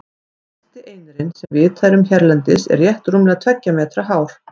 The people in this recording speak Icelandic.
Hæsti einirinn sem vitað er um hérlendis er rétt rúmlega tveggja metra hár.